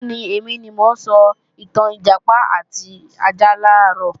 Bẹ́ẹ̀ni, èmi ni mo sọ ìtàn Ìjàpá àti ajá làárọ̀